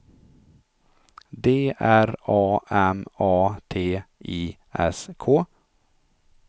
D R A M A T I S K